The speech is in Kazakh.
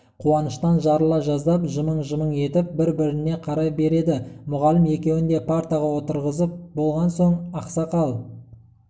қуаныштан жарыла жаздап жымың-жымың етіп бір-біріне қарай береді мұғалім екеуін де партаға отырғызып болған соң ақсақал